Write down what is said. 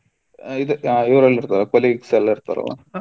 ಹೌದು ಊರಲ್ಲಿ ಸಾ colleague ಎಲ್ಲ ಇರ್ತಾರಲ್ಲ.